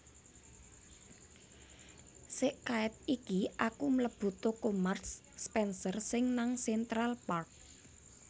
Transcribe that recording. Sek kaet iki aku mlebu toko Marks Spencer sing nang Central Park